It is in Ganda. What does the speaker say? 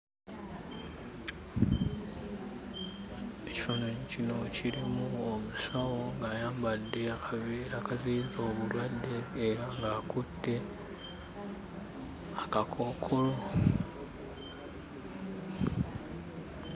Ekifaananyi kino kirimu omusawo ng'ayambadde akaveera akaziyiza obulwadde era ng'akutte akakookolo.